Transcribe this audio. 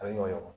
A bɛ ɲɔgɔn